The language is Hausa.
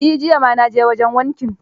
Eh, jiya ma na je wajen wankin.